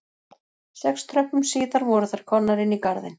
Sex tröppum síðar voru þær komnar inn í garðinn